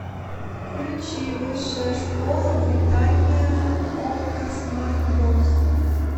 включи высшая школа британия окко смарт бокс